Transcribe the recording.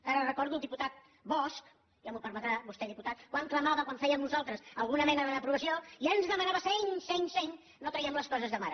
que ara recordo el diputat bosch ja m’ho permetrà vostè diputat quan clamava quan fèiem nosaltres alguna mena de reprovació i ens demanava seny seny seny no traguem les coses de mare